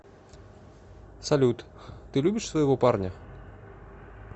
салют ты любишь своего парня